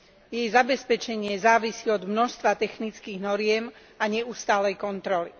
Jej zabezpečenie závisí od množstva technických noriem a neustálej kontroly.